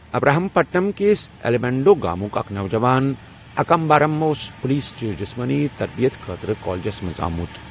ابراہیم پٹنم کِس ایلیمینیڈو گامُک اکھ نوجوان اکامبارم اوس پُلیٖس چہِ جسمٲنی تربِیت خٲطرٕ کالجس منٛز آمُت۔